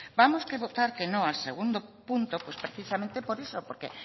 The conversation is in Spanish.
vamos a votar que no al segundo punto pues precisamente por eso porque